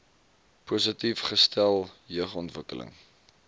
positief gestel jeugontwikkeling